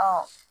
Ɔ